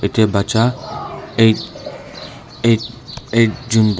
ate bacha eight eight jun bo--